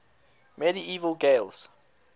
medieval gaels